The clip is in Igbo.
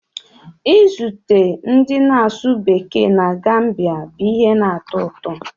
Izute ndị na-asụ Bekee na Gambiya bụ ihe na-atọ ụtọ